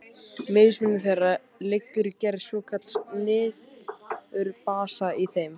Mismunur þeirra liggur í gerð svokallaðs niturbasa í þeim.